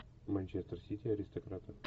манчестер сити аристократы